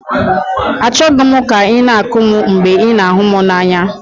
Achọghị m ka ị na-akụ m mgbe ị na-ahụ m n'anya.